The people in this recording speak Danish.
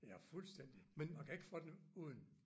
Ja fuldstændig man kan ikke få den uden